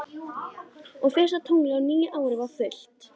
Og fyrsta tunglið á nýju ári var fullt.